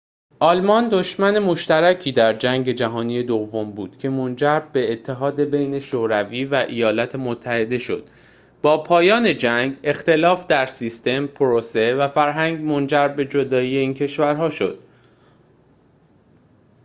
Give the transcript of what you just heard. آلمان دشمن مشترکی در جنگ جهانی دوم بود که منجر به اتحاد بین شوروی و ایالات متحده شد با پایان جنگ اختلاف در سیستم پروسه و فرهنگ منجر به جدایی این کشورها شد